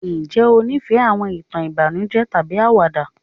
njé o nifẹ àwọn ìtàn ìbànújẹ tàbí àwàdà?